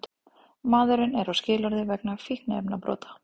Maðurinn er á skilorði vegna fíkniefnabrota